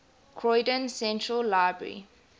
croydon central library